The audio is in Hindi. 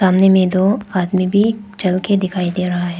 सामने में दो आदमी भी चल के दिखाई दे रहा है।